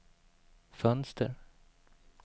fönster